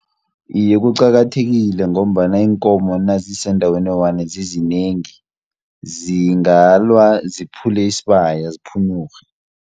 Iye kuqakathekile ngombana iinkomo nazisendaweni eyi-one zizinengi, zingalwa ziphule isibaya ziphunyurhe.